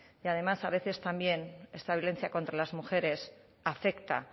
y además a veces también esta violencia contra las mujeres afecta